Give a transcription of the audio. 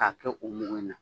K'a kɛ o mugu in na.